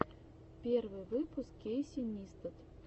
первый выпуск кейси нистат